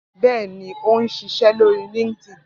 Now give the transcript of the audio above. Bẹ́ẹ̀ ni, ó ń ṣiṣẹ́ lórí LinkedIn